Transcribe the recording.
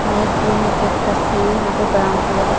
ये क्लीनिक कसी है यहां पे ब्राउन कलर --